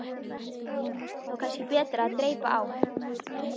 Það væri þó kannski betra að dreypa á.